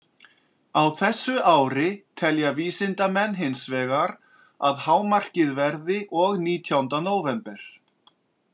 Á þessu ári telja vísindamenn hins vegar að hámarkið verði og nítjánda nóvember.